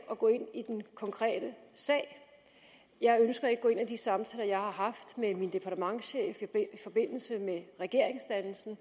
at gå ind i den konkrete sag jeg ønsker ikke at gå ind i de samtaler jeg har haft med min departementschef i forbindelse med regeringsdannelsen